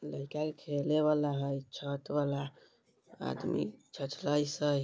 लईका खेले वाला है छत वाला है आदमी छछलाइस है ।